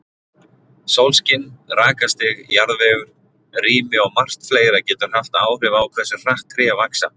Sólskin, rakastig, jarðvegur, rými og margt fleira getur haft áhrif á hversu hratt tré vaxa.